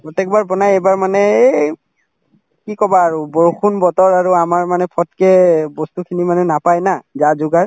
প্ৰত্যেকবাৰ বনাই এইবাৰ মানে এই কি কবা আৰু বৰষুণ বতৰ আৰু আমাৰ মানে ফতকে বস্তুখিনি মানে নাপাই না যা-যোগাৰ